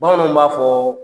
Bamananw b'a fɔ